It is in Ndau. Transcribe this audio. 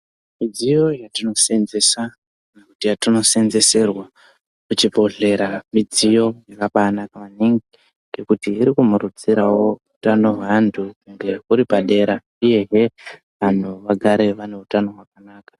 Mudziyo yatinosenzesa kana yatinosenzeserwa kuchibhehlera midziyo yakambanaka maningi ngekuti irikumurudzirawo hutano hwevantu ende huri padera uyehe vanhu vagare vane utano hwakanaka.